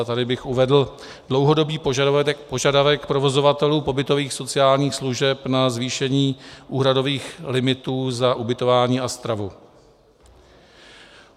A tady bych uvedl dlouhodobý požadavek provozovatelů pobytových sociálních služeb na zvýšení úhradových limitů za ubytování a stravu.